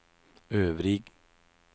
øvrig